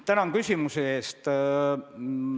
Tänan küsimuse eest!